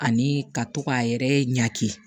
Ani ka to k'a yɛrɛ ɲaki